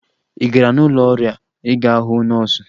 Ị gara n'ụlọ ọrịa ịga hụ nọọsụ?